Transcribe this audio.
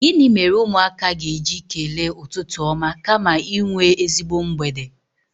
Gịnị mere ụmụaka ga-eji kelee ụtụtụ ọma kama inwe ezigbo mgbede?